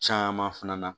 Caman fana na